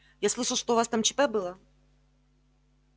я слышал у вас там чп было